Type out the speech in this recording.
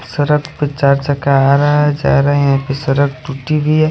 सड़क पे चार चक आ रहा है जा रहा है सड़क टूटी हुयी है--